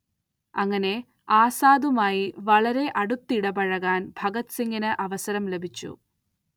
അങ്ങനെ ആസാദുമായി വളരെ അടുത്തിടപഴകാൻ ഭഗത് സിംഗിന് അവസരം ലഭിച്ചു.